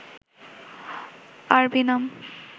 আরবি নাম